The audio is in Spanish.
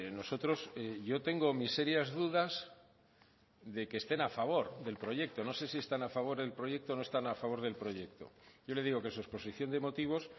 nosotros yo tengo mis serias dudas de que estén a favor del proyecto no sé si están a favor del proyecto o no están a favor del proyecto yo le digo que su exposición de motivos